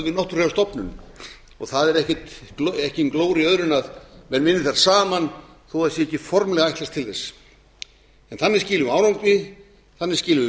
við náttúrufræðistofnun og það er engin glóra í öðru en menn virði þær saman þó það sé ekki formlega ætlast til þess en þannig skilum við árangri þannig skilum við